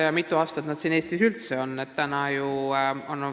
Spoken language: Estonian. Ja eraldi küsimus on, mitu aastat nad Eestis üldse on.